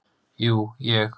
Jú, ég.